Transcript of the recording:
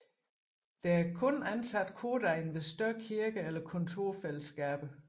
Der er kun ansat kordegn ved større kirker eller kontorfællesskaber